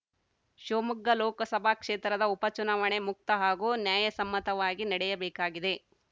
ಶಿವಮೊಗ್ಗ ಲೋಕಸಭಾ ಕ್ಷೇತ್ರದ ಉಪ ಚುನಾವಣೆ ಮುಕ್ತ ಹಾಗೂ ನ್ಯಾಯಸಮ್ಮತವಾಗಿ ನಡೆಯಬೇಕಾಗಿದೆ